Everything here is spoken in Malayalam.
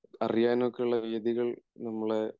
അറിയാനുമൊക്കെയുള്ള രീതികൾ നമ്മളെ